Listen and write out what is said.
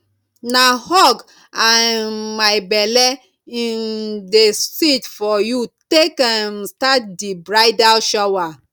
na hug and um my belle um dey seet for you take um start di bridal shower